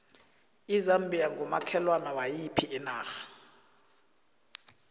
izambia ngumakhelwane wayiphi inarha